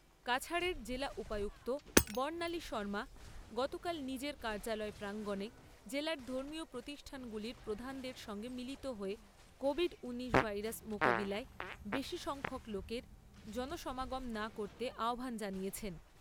কাছাড়ের জেলা উপায়ুক্ত বর্ণালী শৰ্মা গতকাল নিজের কার্যালয় প্রাঙ্গনে জেলার ধর্মীয় প্রতিষ্ঠানগুলির প্রধানদের সঙ্গে মিলিত হয়ে কোভিড নাইন্টিন ভাইরাস মোকাবিলায় বেশী সংখ্যক লোকের জনসমাগম না করতে আহ্বান জানিয়েছেন।